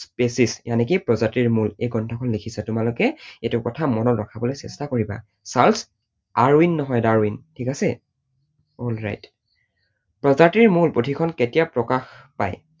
species প্ৰজাতিৰ মূল এই গ্ৰন্থখন লিখিছে, তোমালোকে এইটো কথা মনত ৰখাবলৈ চেষ্টা কৰিবা। চাৰ্লছ আৰউইন নহয় ডাৰউইন । ঠিক আছে? alright প্ৰজাতিৰ মূল পুথি খন কেতিয়া প্ৰকাশ পায়?